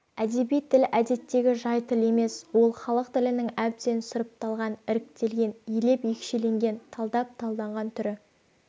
әдеби тіл әдеттегі жай тіл емес ол халық тілінің әбден сұрыпталған іріктелген елеп-екшелген талдап-талданған түрі